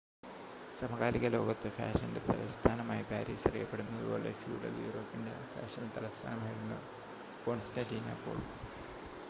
സമകാലിക ലോകത്ത് ഫാഷൻ്റെ തലസ്ഥാനമായി പാരീസ് അറിയപ്പെടുന്നതുപോലെ ഫ്യൂഡൽ യൂറോപ്പിൻ്റെ ഫാഷൻ തലസ്ഥാനമായിരുന്നു കോൺസ്റ്റാൻ്റിനോപ്പിൾ